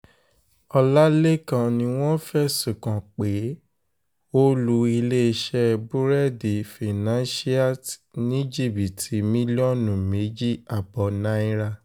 ọ̀làlẹ́kan ni wọ́n fẹ̀sùn kàn pé ó lu iléeṣẹ́ búrẹ́ẹ̀dì financialte ní jìbìtì mílíọ̀nù méjì ààbọ̀ náírà